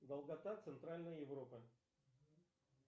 долгота центральной европы